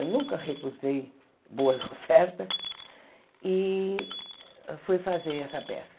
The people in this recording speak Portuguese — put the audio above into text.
Eu nunca recusei boas ofertas e fui fazer essa peça.